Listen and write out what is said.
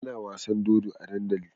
Ana wasan dodo a dandali